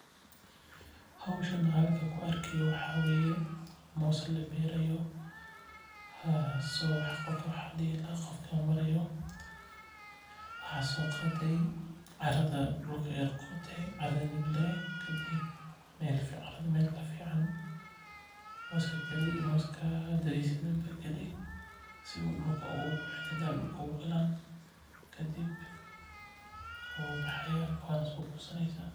Howshan halkan aan ku arki haayo waxaa waye moos la beeri haayo waxa soo qaade carada ayaa qode kadib waad galineysa wuu baxaaya waa soo gosaneysa.